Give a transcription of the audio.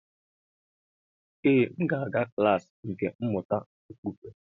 Ee m ga-aga klas nkà mmụta okpukpe